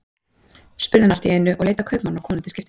spurði hann allt í einu, og leit á kaupmann og konu til skiptis.